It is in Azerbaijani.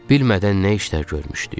Bilmədən nə işlər görmüşdük,